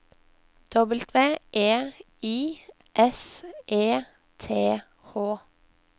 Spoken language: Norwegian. W E I S E T H